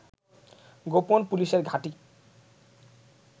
গোপন পুলিশের ঘাঁটি